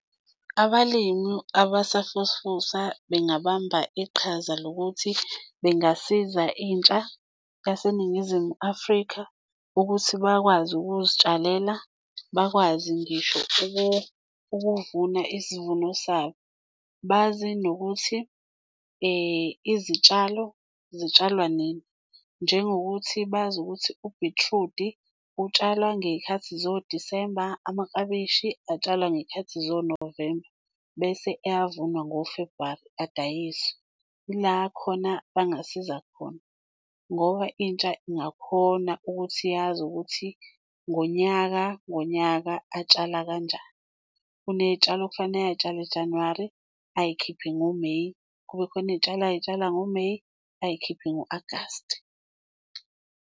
Abalimi abasafufusa bengabamba iqhaza lokuthi bengasiza intsha yaseNingizimu Afrika ukuthi bakwazi ukuzitshalela, bakwazi ngisho ukuvuna isivuno sabo, bazi nokuthi izitshalo zitshalwa nini, njengokuthi bazi ukuthi ubhithrudi utshalwa ngey'khathi zo-December, amaklabishi atshalwa ngey'khathi zo-November bese eyavunwa ngo-February, adayiswe. Ila khona bangasiza khona ngoba intsha ingakhona ukuthi yazi ukuthi ngonyaka ngonyaka atshala kanjani. Uney'tshalo okufanele ay'tshala Januwari ayikhiphe ngoMeyi, kube khona iy'tshalo ay'tshalwa ngoMeyi, ayikhiphe ngo-Agasti.